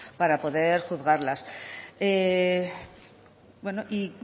para poder juzgarlas